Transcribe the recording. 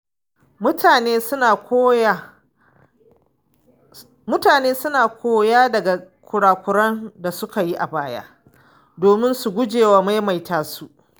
Mutane suna koya daga kura-kuren da suka yi a baya domin su gujewa maimaita su.